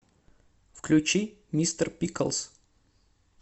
включи мистер пиклз